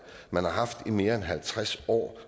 man har haft i mere end halvtreds år